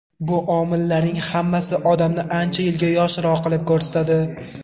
Bu omillarning hammasi odamni ancha yilga yoshroq qilib ko‘rsatadi.